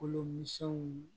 Kolo misɛnninw